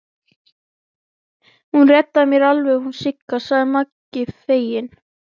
Í fordyri eru tvær blöðrur, skjóða og posi.